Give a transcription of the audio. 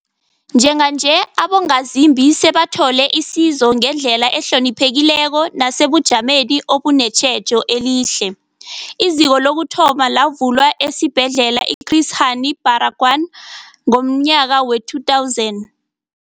Njenganje, abongazimbi sebathola isizo ngendlela ehloniphekileko nesebujameni obunetjhejo elihle. IZiko lokuthoma lavulwa esiBhedlela i-Chris Hani Barag wanath ngomnyaka we-2000.